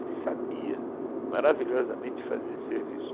Ele sabia maravilhosamente fazer serviço.